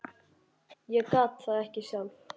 Ég gat það ekki sjálf.